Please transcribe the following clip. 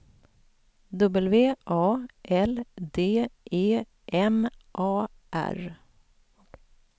W A L D E M A R